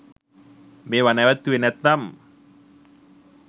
මෙවා නැවැත්තුවෙ නැත්නම්